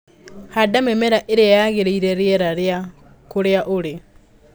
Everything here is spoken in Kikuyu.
Handa mĩmera ĩria yagĩrĩire riera rĩa kũrĩa ũrĩ.